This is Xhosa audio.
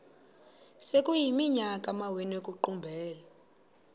sekuyiminyaka amawenu ekuqumbele